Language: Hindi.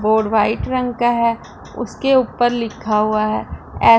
बोर्ड वाइट रंग का है उसके ऊपर लिखा हुआ है ए--